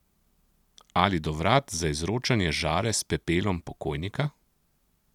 Ali do vrat za izročanje žare s pepelom pokojnika?